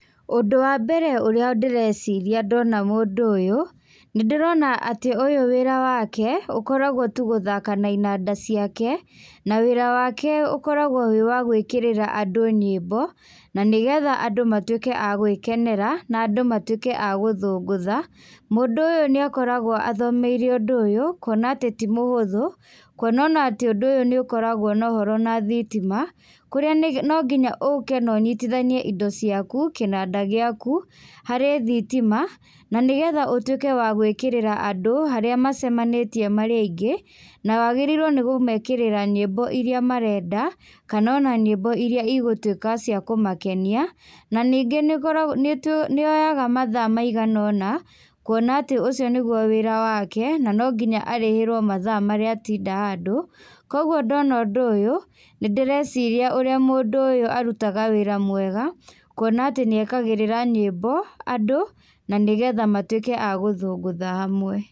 Ũndũ wa mbere ũrĩa ndĩreciria ndona mũndũ ũyũ, nĩndĩrona atĩ ũyũ wĩra wake, ũkoragwo tu gũthaka na inanda ciake, na wĩra wake ũkoragwo wĩ wagwĩkĩrĩra andũ nyĩmbo, na nĩgetha andũ matwĩke a gwĩkenera, na andũ matwĩke a gũthũngũtha. Mũndũ ũyũ nĩakoragwo athomeire ũndũ ũyũ, kuona atĩ ti mũhũthũ, kuonona atĩ ũndũ ũyũ nĩukoragwo nohoro na thitima, kũrĩa nĩge nonginya ũke nonyitithanie indo ciaku, kĩnanda gĩaku, harĩ thitima, nanĩgetha ũtwĩke wa gwĩkĩrĩra andũ harĩa macemanĩtie marĩ aingĩ, nawagĩrĩirwo nĩkũmekĩrĩra nyĩmbo iria marenda, kanona nyĩmbo iria igũtwĩka cia kũmakenia, na ningĩ nĩyoyaga mathaa maiganona, kuona atĩ ũcio nĩguo wĩra wake, na nonginya arĩhĩrwo mathaa marĩa atinda handũ, kwoguo ndona ũndũ ũyũ, nĩndíreciria ũrĩa mũndũ ũyũ arutaga wĩra mwega, kuona atĩ nĩekagĩrĩra nyĩmbo, andũ, nanĩgetha matwĩke a gũthũngũtha hamwe.